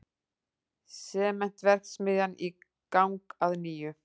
Sementsverksmiðjan í gang að nýju